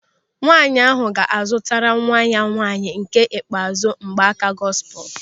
Nwaanyị ahụ ga-azụtara nwa ya nwaanyị nke ikpeazụ mgbaaka gọsipul.